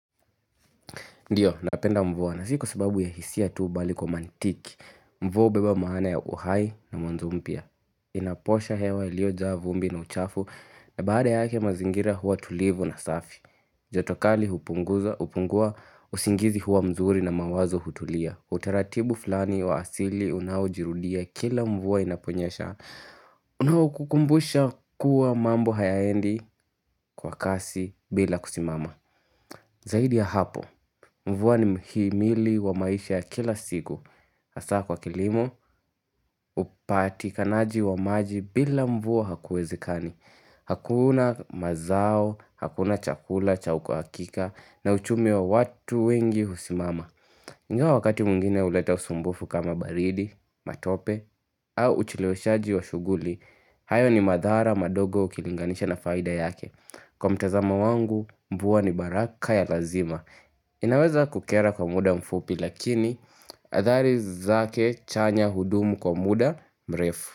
Ndio, napenda mvua, na si kwa sababu ya hisia tu, mbali kwa mantiki Mvua hubeba maana ya uhai na mwanzo mpya Inaposha hewa iliyojaa vumbi na uchafu, na baada yake mazingira huwa tulivu na safi joto kali hupunguza hupungua, usingizi huwa mzuri, na mawazo hutulia, utaratibu flani wa asili unaojirudia kila mvua inaponyesha, unao kukumbusha kuwa mambo hayaendi, kwa kasi bila kusimama Zaidi ya hapo, mvua ni mhimili wa maisha kila siku. Hasa kwa kilimo, upatikanaji wa maji, bila mvua, hakuwezekani. Hakuna mazao, hakuna chakula, cha uhakika na uchumi wa watu wengi husimama. Ingawa wakati mwingine huleta usumbufu kama baridi, matope, au ucheleweshaji wa shughuli hayo ni madhara madogo ukilinganisha na faida yake, kwa mtazamo wangu, mvua ni baraka ya lazima inaweza kukera kwa muda mfupi lakini, adhari zake chanya hudumu kwa muda mrefu.